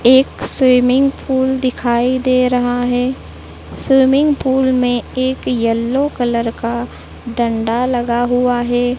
एक swimming pool दिखाई दे रहा है स्विमिंग पूल में एक येलो कलर का डंडा लगा हुआ है।